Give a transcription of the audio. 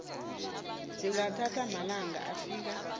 zingathatha amalanga afika